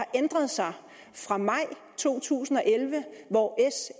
ændret sig fra maj to tusind og elleve hvor